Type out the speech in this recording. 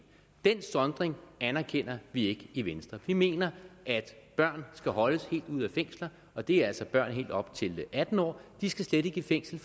den sondring anerkender vi ikke i venstre vi mener at børn skal holdes helt ude af fængsler og det er altså børn helt op til atten år de skal slet ikke i fængsel